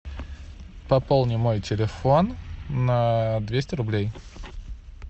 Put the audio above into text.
пополни мой телефон на двести рублей